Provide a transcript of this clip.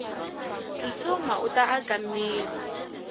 tsutsuma uta akamiri